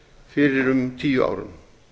fyrir um tíu árum